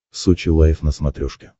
сочи лайф на смотрешке